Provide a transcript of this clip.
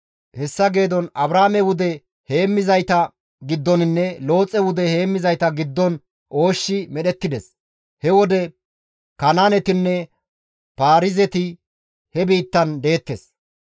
Hessa geedon Abraame wude heemmizayta giddoninne Looxe wude heemmizayta giddon ooshshi medhettides; he wode Kanaanetinne Paarizeti he biittan deettes.